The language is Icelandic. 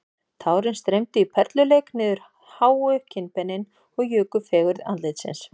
Tárin streymdu í perluleik niður háu kinnbeinin og juku fegurð andlitsins